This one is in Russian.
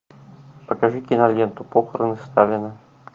покажи киноленту похороны сталина